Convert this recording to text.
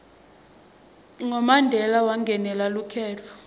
ngo mandela wangenela lukhetfo